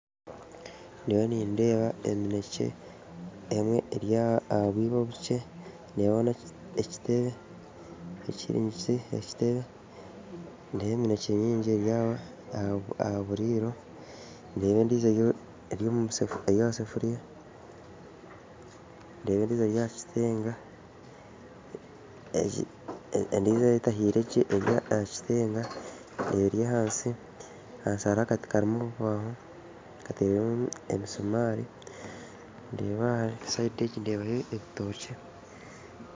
Ndiyo nindeeba emineekye emwe eri aha bwibo obukye ndeebaho n'ekiteebe ndeeba emineekye nyingi eri ahaburiro ndeeba endiijo eri omu saafuriya ndeeba endiijo eri aha kitenga endiijo etahiire gye eri aha kitenga eri ahansi, ahansi hariho akati kakozirwe omu bubaaho karimu emisuumari sayidi egi ndeebaho ebitookye